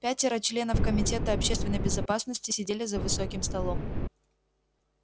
пятеро членов комитета общественной безопасности сидели за высоким столом